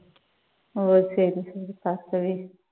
okay Bhargavi.